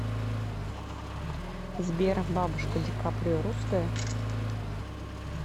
сбер бабушка ди каприо русская